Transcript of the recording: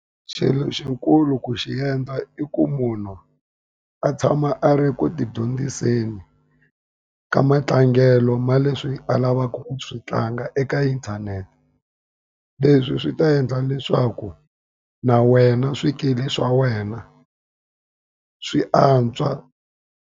Xilo xikulu ku xi endla i ku munhu a tshama a ri ku ti dyondziseni ka matlangelo ma leswi a lavaka ku swi tlanga eka inthanete. Leswi swi ta endla leswaku na wena swikili swa wena swi antswa.